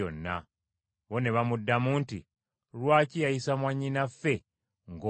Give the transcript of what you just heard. Bo ne bamuddamu nti, “Lwaki yayisa mwannyinaffe ng’omwenzi?”